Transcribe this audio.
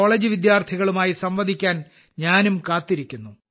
college വിദ്യാർത്ഥികളുമായി സംവദിക്കാൻ ഞാനും കാത്തിരിക്കുന്നു